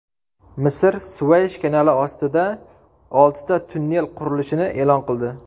Misr Suvaysh kanali ostida oltita tunnel qurilishini e’lon qildi.